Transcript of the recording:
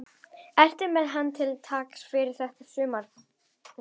Ertu með hann til taks fyrir þetta sumar líka?